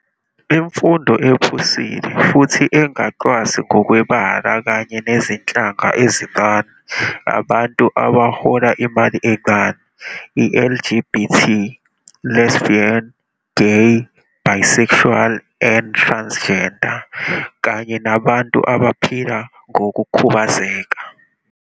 Imfundo ephusile futhi angacwasi ngokwe bala kanye nezinhlanga ezincane, abantu abahola imali encane, LGBT, lesbian, gay, bisexual, and transgender, kanye nabantu abaphila ngoku khubazeka.